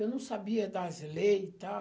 Eu não sabia das leis e tal.